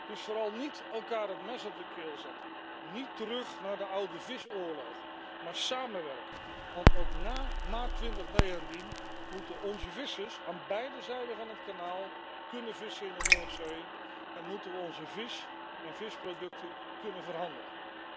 Dus vooral niet elkaar het mes op de keel zetten, niet terug naar de oude visoorlogen, maar samenwerken. Want ook na maart 2019 moeten onze vissers aan beide zijden van het kanaal kunnen vissen in de Noordzee en moeten we onze vis en visproducten kunnen verhandelen.